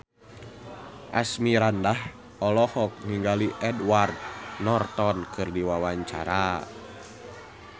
Asmirandah olohok ningali Edward Norton keur diwawancara